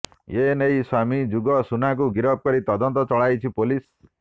ଏ ନେଇ ସ୍ୱାମୀ ଯୁଗ ସୁନାଙ୍କୁ ଗିରଫ କରି ତଦନ୍ତ ଚଳାଇଛି ପୋଲିସ